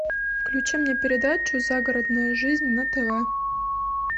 включи мне передачу загородная жизнь на тв